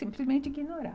Simplesmente ignorava.